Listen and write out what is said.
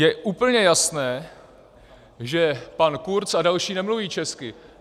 Je úplně jasné, že pan Kurz a další nemluví česky.